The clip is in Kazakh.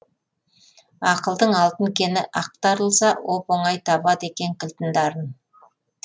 ақылдың алтын кені ақтарылса оп оңай табады екен кілтін дарын